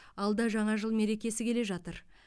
алда жаңа жыл мерекесі келе жатыр